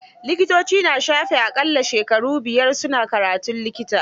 Likitoci na shafe a ƙalla shekara buyar su na karatun likita.